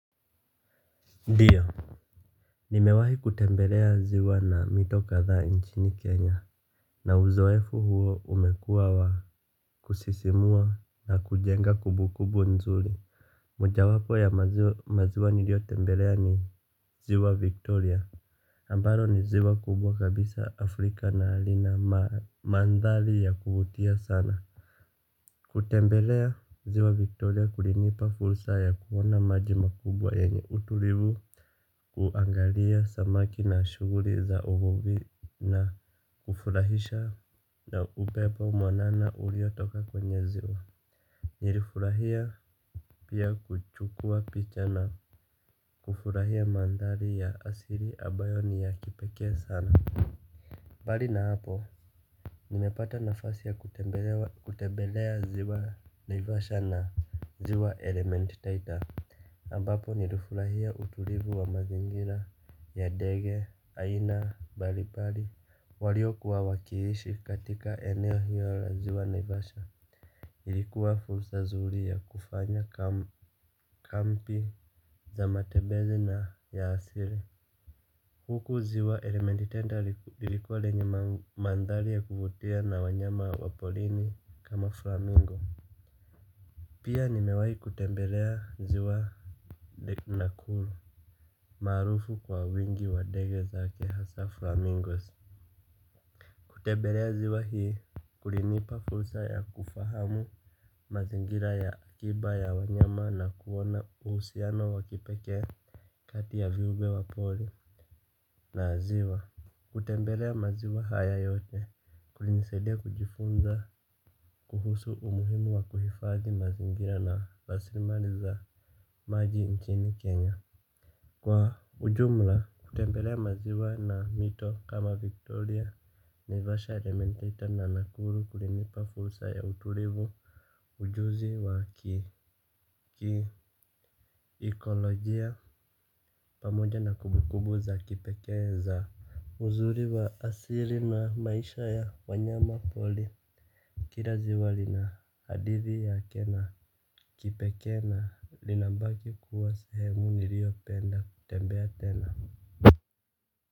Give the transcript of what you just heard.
Ndiyo. Nimewahi kutembelea ziwa na mito kadha nchini Kenya. Na uzoefu huo umekuwa wa kusisimua na kujenga kumbukumbu nzuri. Moja wapo ya maziwa nilio tembelea ni ziwa Victoria Ambalo ni ziwa kubwa kabisa Afrika na lina mandhari ya kuvutia sana. Kutembelea ziwa Victoria kulinipa fursa ya kuona maji makubwa yenye utulivu. Kuangalia samaki na shughuli za uvuvi na kufurahisha na upepo mwanana uliotoka kwenye ziwa. Nilifurahia pia kuchukua picha na kufurahia mandari ya asili ambayo ni ya kipekee sana mbali na hapo nimepata nafasi ya kutembelea ziwa naivasha na ziwa element taita ambapo nilifurahia utulivu wa mazingira, ya ndege, aina, mbalimbali, waliyokuwa wakiishi katika eneo hiyo la ziwa naivasha. Ilikuwa fursa zuri ya kufanya kambi za matembezi na ya asili. Huku ziwa elementi taita ilikuwa lenye mandhari ya kuvutia na wanyama wa porini kama flamingo. Pia nimewahi kutembelea ziwa nakuru. Maarufu kwa wingi wa ndege zake hasa flamingos. Kutembelea ziwa hili kulinipa fursa ya kufahamu mazingira ya akiba ya wanyama na kuona uhusiano wa kipekee kati ya viumbe wa pori na ziwa. Kutembelea maziwa haya yote kulinisaida kujifunza kuhusu umuhimu wa kuhifadhi mazingira na rasili mali za maji nchini Kenya. Kwa ujumla kutembelea maziwa na mito kama Victoria Naivasha element taita na nakuru kulinipa fursa ya utulivu. Ujuzi wa kiikolojia pamoja na kumbukumbu za kipekee za uzuri wa asili na maisha ya wanyama pori. Kila ziwa lina hadithi yake na kipekee na lina baki kuwa sehemu nilio penda kutembea tena.